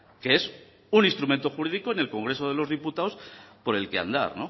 que es un instrumento jurídico en el congreso de los diputados por el que andar